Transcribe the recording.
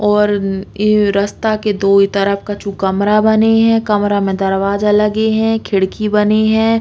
और इ रस्ता के दोई तरफ कछु कमरा बने है। कमरा में दरवाजा लगी है खिड़की बनी है।